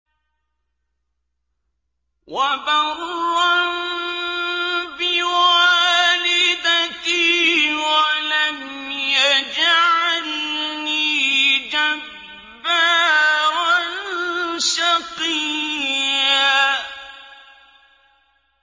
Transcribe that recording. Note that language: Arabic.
وَبَرًّا بِوَالِدَتِي وَلَمْ يَجْعَلْنِي جَبَّارًا شَقِيًّا